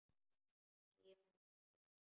Skimar í kringum sig.